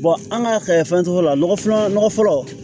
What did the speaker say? an ka fɛn tɔw la nɔgɔ filanan fɔlɔ